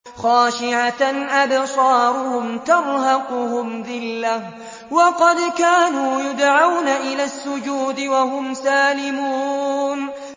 خَاشِعَةً أَبْصَارُهُمْ تَرْهَقُهُمْ ذِلَّةٌ ۖ وَقَدْ كَانُوا يُدْعَوْنَ إِلَى السُّجُودِ وَهُمْ سَالِمُونَ